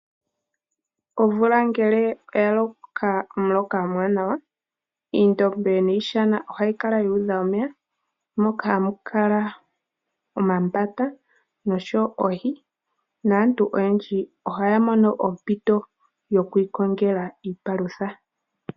Omvula ngele ya loka omuloka omuwanawa oondombe niishana ohayi kala yuudha omeya moka hamu kala omambata oshowo oohi naantu oyendji ohaya mono ompito yokwiikongela iipalutha.